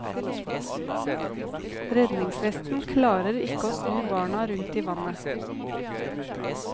Redningsvesten klarer ikke snu barna rundt i vannet.